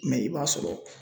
i b'a sɔrɔ.